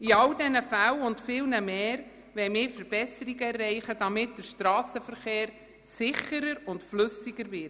In all diesen Fällen und vielen mehr wollen wir Verbesserungen erreichen, damit der Strassenverkehr sicherer und flüssiger wird.